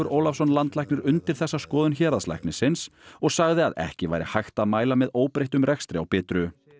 Ólafsson landlæknir undir þessa skoðun héraðslæknisins og sagði að ekki væri hægt að mæla með óbreyttum rekstri á Bitru